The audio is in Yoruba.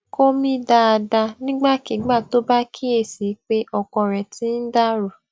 kó mí dáadáa nígbàkigbà tó bá kíyè sí i pé okan rè ti ń dà rú